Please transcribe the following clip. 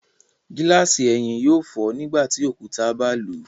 Gilasi ẹhin yóò fọ nígbàtí òkúta ba lu